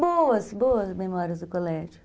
Boas, boas memórias do colégio.